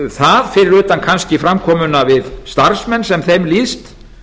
það fyrir utan kannski framkomuna við starfsmenn sem þeim líðst